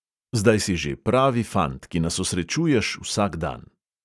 Zdaj si že pravi fant, ki nas osrečuješ vsak dan.